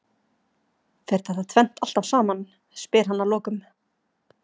Fer þetta tvennt alltaf saman? spyr hann að lokum.